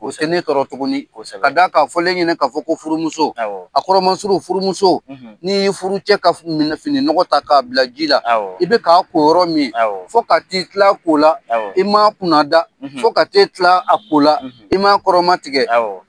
O te ne tɔrɔ tuguni; Kosɛbɛ; Ka da ka fɔlen e ɲinin k'a fɔ ko furumuso; Awɔ; A kɔrɔmansuru furumuso; N'i ye furu cɛ ka f minɛ finin nɔgɔ ta k'a bila ji la; Awɔ; I bɛ k' ko yɔrɔ min; Awɔ; Fo ka ti kla ko la; Awɔ; I ma kunna da; Fo ka te kla a ko la; I ma kɔrɔma tigɛ; Awɔ.